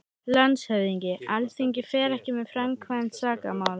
LANDSHÖFÐINGI: Alþingi fer ekki með framkvæmd sakamála.